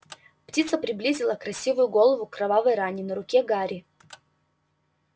птица приблизила красивую голову к кровавой ране на руке гарри